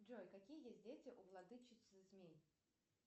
джой какие есть дети у владычицы змей